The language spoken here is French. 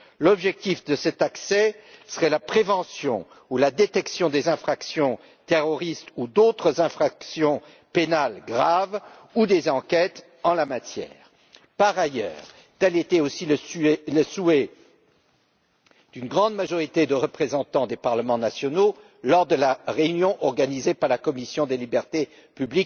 L'objectif de cet accès serait la prévention ou la détection des infractions terroristes ou d'autres infractions pénales graves ou la réalisation d'enquêtes en la matière. Par ailleurs, tel était aussi le souhait d'une grande majorité de représentants des parlements nationaux, lors de la réunion organisée par la commission des libertés civiles